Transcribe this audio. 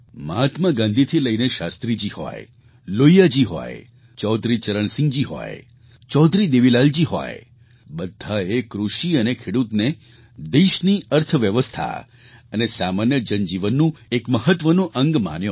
મહાત્મા ગાંધીથી લઈને શાસ્ત્રીજી હોય લોહિયાજી હોય ચૌધરી ચરણસિંહજી હોય ચૌધરી દેવીલાલજી હોય બધાએ કૃષિ અને ખેડૂતને દેશની અર્થવ્યવસ્થા અને સામાન્ય જનજીવનનું એક મહત્ત્વનું અંગ માન્યો